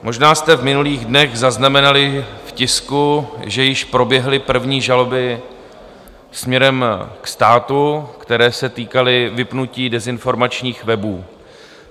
Možná jste v minulých dnech zaznamenali v tisku, že již proběhly první žaloby směrem k státu, které se týkaly vypnutí dezinformačních webů.